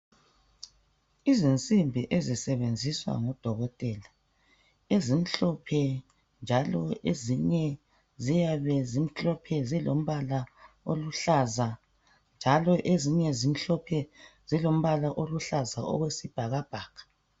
Izinsimbi ezisebenziswa ngodokotela ezimhlophe njalo ezinye ziyabe zimhlophe zilombala oluhlaza njalo ezinye zimhlophe zilombala oluhlaza owesibhakabhaka